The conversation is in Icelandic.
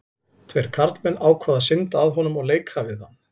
Tveir karlmenn ákváðu að synda að honum og leika við hann.